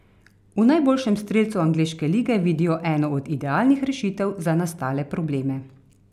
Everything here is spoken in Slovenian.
V najboljšem strelcu angleške lige vidijo eno od idealnih rešitev za nastale probleme.